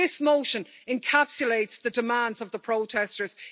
This motion encapsulates the demands of the protesters.